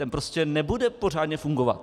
Ten prostě nebude pořádně fungovat.